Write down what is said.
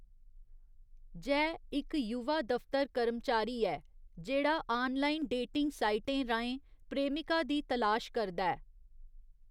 जय इक युवा दफतर कर्मचारी ऐ जेह्‌‌ड़ा आनलाइन डेटिंग साइटें राहें प्रेमिका दी तलाश करदा ऐ।